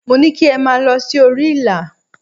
Mo ní kí ẹ máa lọ sí orí ìlà.!